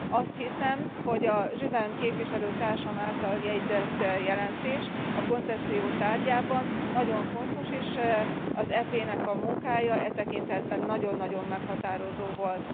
Azt hiszem, hogy a Juvin képviselőtársam által jegyzett jelentés a koncesszió tárgyában nagyon fontos, és az EP nek a munkája e tekintetben nagyon nagyon meghatározó volt.